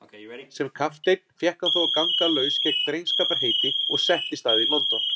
Sem kapteinn fékk hann þó að ganga laus gegn drengskaparheiti og settist að í London.